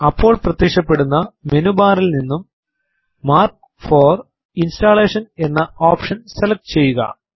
അപ്പോൾ പ്രത്യക്ഷപ്പെടുന്ന മെനു ബാറിൽ നിന്നും മാർക്ക് ഫോർ ഇൻസ്റ്റലേഷൻ എന്ന ഓപ്ഷൻ സെലക്ട് ചെയ്യുക